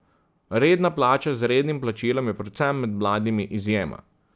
Redna plača z rednim plačilom je predvsem med mladimi izjema.